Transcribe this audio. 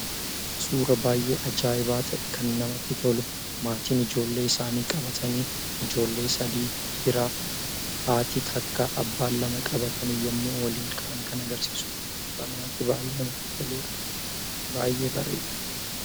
Suura baay'ee ajaa'ibaa ta'e, kan namatti tolu maatiin ijoollee isaanii qabatanii, ijoollee sadii: dhiira haati takka, abbaan lama qabatanii yommuu waliin taa'an kan agarsiisudha. Kan baay'ee namatti toludha. Baay'ee bareeda!